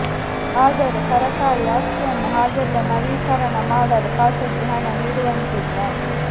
ಆದರೆ ಸರಕಾರಿ ಆಸ್ತಿಯನ್ನು ಹಾಗೆಲ್ಲಾ ನವೀಕರಣ ಮಾಡಲು ಖಾಸಗಿ ಹಣ ನೀಡುವಂತಿಲ್ಲ